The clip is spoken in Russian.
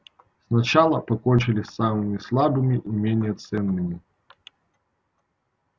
сначала покончили с самыми слабыми и менее ценными